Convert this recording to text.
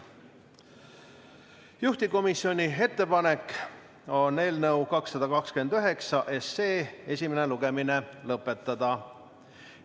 Juhtivkomisjoni ettepanek on eelnõu 229 esimene lugemine lõpetada.